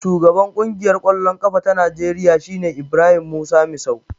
Shugaban Ƙungiyar ƙwallon ƙafa ta Najeriya shine Ibrahim Musa Misau.